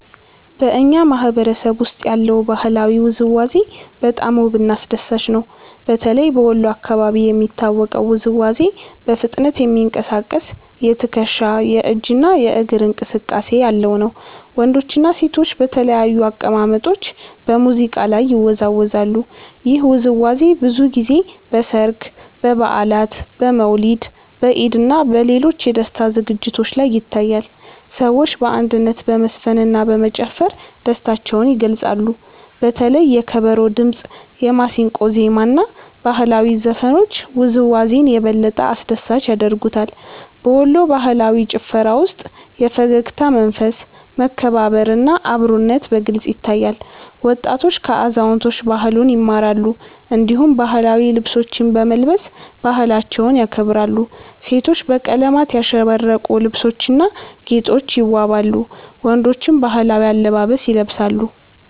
በእኛ ማህበረሰብ ውስጥ ያለው ባህላዊ ውዝዋዜ በጣም ውብና አስደሳች ነው። በተለይ በወሎ አካባቢ የሚታወቀው ውዝዋዜ በፍጥነት የሚንቀሳቀስ የትከሻ፣ የእጅ እና የእግር እንቅስቃሴ ያለው ነው። ወንዶችና ሴቶች በተለያዩ አቀማመጦች በሙዚቃ ላይ ይወዛወዛሉ። ይህ ውዝዋዜ ብዙ ጊዜ በሠርግ፣ በበዓላት፣ በመውሊድ፣ በኢድ እና በሌሎች የደስታ ዝግጅቶች ላይ ይታያል። ሰዎች በአንድነት በመዝፈንና በመጨፈር ደስታቸውን ይገልጻሉ። በተለይ የከበሮ ድምጽ፣ የማሲንቆ ዜማ እና ባህላዊ ዘፈኖች ውዝዋዜውን የበለጠ አስደሳች ያደርጉታል። በወሎ ባህላዊ ጭፈራ ውስጥ የፈገግታ መንፈስ፣ መከባበር እና አብሮነት በግልጽ ይታያል። ወጣቶች ከአዛውንቶች ባህሉን ይማራሉ፣ እንዲሁም ባህላዊ ልብሶችን በመልበስ ባህላቸውን ያከብራሉ። ሴቶች በቀለማት ያሸበረቁ ልብሶችና ጌጦች ይዋበዋሉ፣ ወንዶችም ባህላዊ አለባበስ ይለብሳሉ።